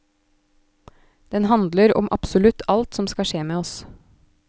Den handler om absolutt alt som skal skje med oss.